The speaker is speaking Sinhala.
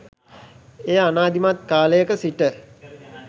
එය ආනාදිමත් කාලයක සිට